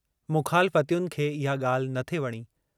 मुख़ालफ़तियुनि खे इहा ॻाल्हि नथे वणी।